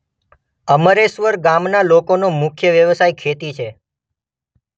અમરેશ્વર ગામના લોકોનો મુખ્ય વ્યવસાય ખેતી છે.